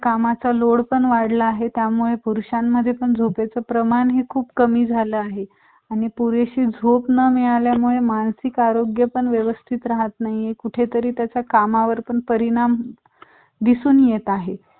कामाचा लोड वाढला आहे त्यामुळे पुरुषामध्ये झोपेच प्रमाण खूप कमी झाल आहे आणि पुरेशी झोप न मिळण्यामुले मानसिक आरोग्य पण व्यवस्थित राहत नाहीये कुठेतरी त्याचा कामावर पण परिणाम दिसून येत आहे